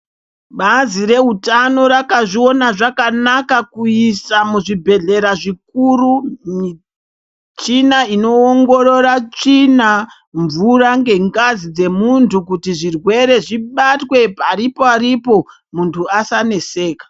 Bazi rezvehutano rakazviona zvakanaka kuisa muzvibhedhlera zvikuru michina inoongorora tsvina mvura dzengazi dzemuntu kuti zvirwere zvibatwe pariporipo muntu asaresveke.